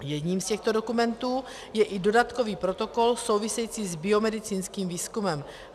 Jedním z těchto dokumentů je i dodatkový protokol související s biomedicínským výzkumem.